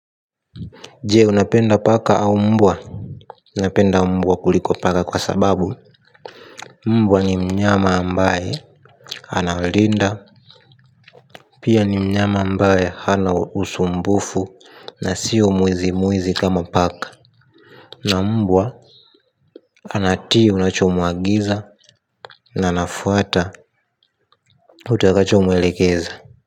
Je unapenda paka au mbwa napenda mbwa kuliko paka kwa sababu mbwa ni mnyama ambaye Analinda. Pia ni mnyama ambaye hana usumbufu. Na sio mwizi mwizi kama paka. Na mbwa anatii unachomuagiza. Na anafuata utakachomuelekeza.